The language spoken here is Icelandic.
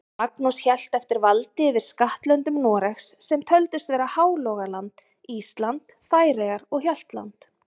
Magnús hélt eftir valdi yfir skattlöndum Noregs, sem töldust vera Hálogaland, Ísland, Færeyjar og Hjaltland.